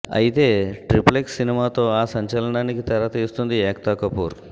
అయితే triple X సినిమాతో ఆ సంచలనానికి తెర తీస్తోంది ఏక్తా కపూర్